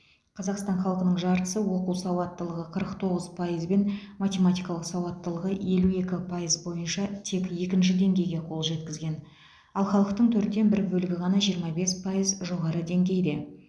қазақстан халқының жартысы оқу сауаттылығы қырық тоғыз пайызбен математикалық сауаттылығы елу екі пайыз бойынша тек екінші деңгейге қол жеткізген ал халықтың төрттен бір бөлігі ғана жиырма бес пайыз жоғары деңгейде